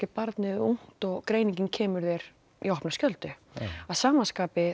barnið er ungt og greiningin kemur þér í opna skjöldu að sama skapi